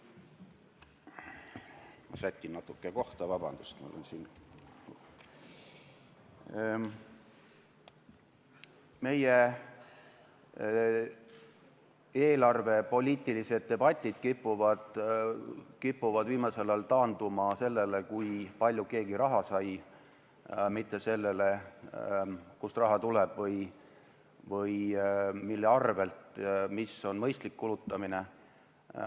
Meie eelarvepoliitilised debatid kipuvad viimasel ajal taanduma sellele, kui palju keegi raha sai, mitte sellele, kust või mille arvel raha tuleb ja mis on mõistlik kulutamine.